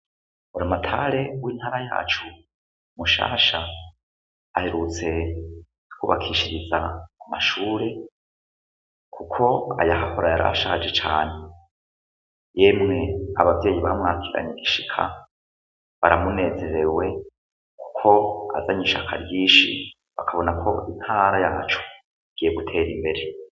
Orimatare w'intara yacu mushasha aherutse kutwubakishiriza amashure, kuko aya hahorayari ashaje cane yemwe abavyeyi bamwakigane igishika baramunezezewe, kuko azanye ishaka ryinshi bakabona ko itara yacu giye gutera imbere.